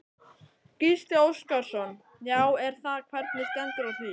Gísli Óskarsson: Já er það, hvernig stendur á því?